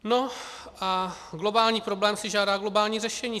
No a globální problém si žádá globální řešení.